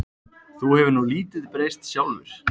Þú hefur nú lítið breyst sjálfur.